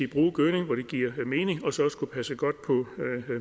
bruge gødning hvor det giver mening og så passe godt på